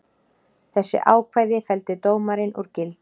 Þessi ákvæði felldi dómarinn úr gildi